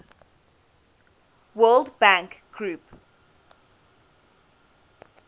world bank group